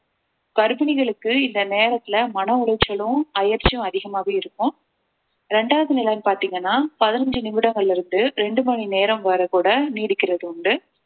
கர்ப்பிணிகளுக்கு இந்த நேரத்திலே மன உளைச்சலும் அயர்ச்சியும் அதிகமாவே இருக்கும் இரண்டாவது நிலைன்னு பார்த்தீங்கன்னா பதினைந்து நிமிடங்கள்ல இருந்து இரண்டு மணி நேரம் வரை கூட நீடிக்கிறது உண்டு